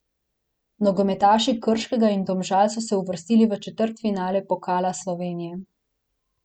Nogometaši Krškega in Domžal so se uvrstili v četrtfinale Pokala Slovenije.